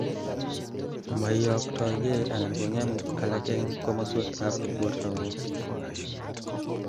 moiyoktoigei anan kongem alak en komoswek ab bortangung